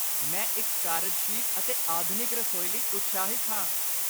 ਮੈਂ ਇੱਕ ਕਾਰਜਸ਼ੀਲ ਅਤੇ ਆਧੁਨਿਕ ਰਸੋਈ ਲਈ ਉਤਸ਼ਾਹਿਤ ਹਾਂ।